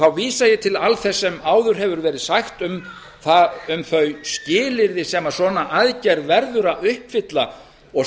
þá vísa ég til alls þess sem áður hefur verið sagt um þau skilyrði sem svona aðgerð verður að uppfylla og